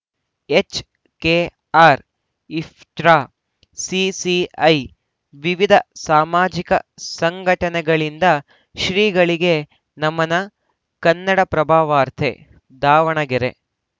HKR IPTA CPI ವಿವಿಧ ಸಾಮಾಜಿಕ ಸಂಘಟನೆಗಳಿಂದ ಶ್ರೀಗಳಿಗೆ ನಮನ ಕನ್ನಡಪ್ರಭವಾರ್ತೆ ದಾವಣಗೆರೆ